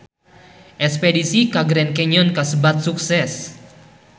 Espedisi ka Grand Canyon kasebat sukses